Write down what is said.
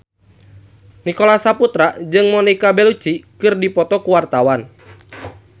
Nicholas Saputra jeung Monica Belluci keur dipoto ku wartawan